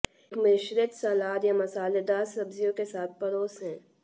एक मिश्रित सलाद या मसालेदार सब्जियों के साथ परोसें